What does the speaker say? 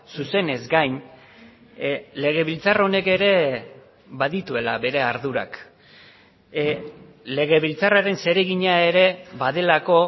zuzenez gain legebiltzar honek ere badituela bere ardurak legebiltzarraren zeregina ere badelako